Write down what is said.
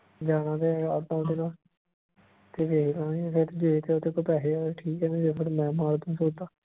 ਲੈਣਾਂ ਤੇ ਹੈਗਾ ਤੇ ਵੇਖਲਾ ਗੇ ਦੇਖ ਜੇ ਤੇਰੇ ਤੋਂ ਪੈਸੇ ਹੈਗੇ ਤੇ ਠੀਕ ਆ ਨਹੀਂ ਤੇ ਫਿਰ ਮੈਂ ਮਾਰ ਦੂ ਸੋਟਾ।